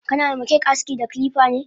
Kana ma cake aski da kilifane?